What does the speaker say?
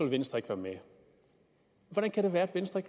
venstre ikke være med hvordan kan det være at venstre